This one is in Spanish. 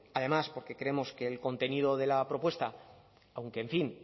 además porque creemos que el contenido de la propuesta aunque en fin